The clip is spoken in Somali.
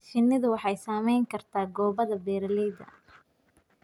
Shinnidu waxay saamayn kartaa go'aamada beeralayda.